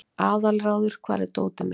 Aðalráður, hvar er dótið mitt?